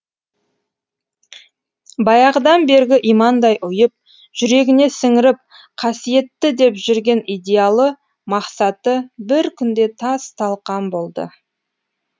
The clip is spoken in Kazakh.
баяғыдан бергі имандай ұйып жүрегіне сіңіріп қасиетті деп жүрген идеалы мақсаты бір күнде тас талқан болды